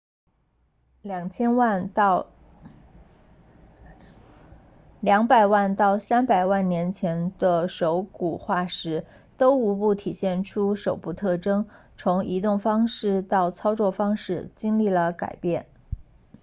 200万到300万年前的手骨化石都无不体现出手部特征从移动方式到操作方式经历了改变